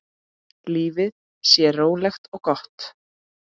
Lífið sé rólegt og gott.